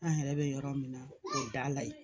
An yɛrɛ bɛ yɔrɔ min na o da la yen